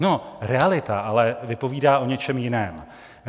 No, realita ale vypovídá o něčem jiném.